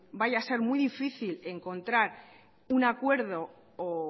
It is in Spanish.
vaya a ser muy difícil encontrar un acuerdo o